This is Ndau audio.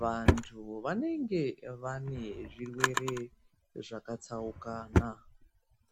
vantu vanenge vane zvirwere zvakatsaukana.